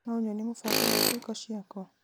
no ũnyonie mũbango wa irĩko ciakwa